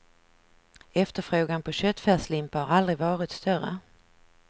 Efterfrågan på köttfärslimpa har aldrig varit större.